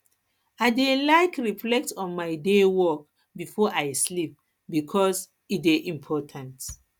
i dey like reflect on my day work before i sleep bikos e dey important